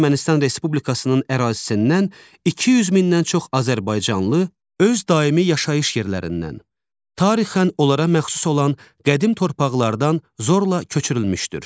Ermənistan Respublikasının ərazisindən 200 mindən çox azərbaycanlı öz daimi yaşayış yerlərindən, tarixən onlara məxsus olan qədim torpaqlardan zorla köçürülmüşdür.